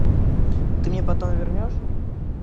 ты мне потом вернешь